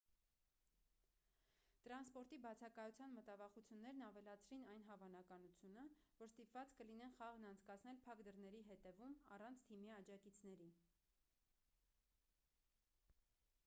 տրանսպորտի բացակայության մտավախություններն ավելացրին այն հավանականությունը որ ստիպված կլինեն խաղն անցկացնել փակ դռների հետևում առանց թիմի աջակիցների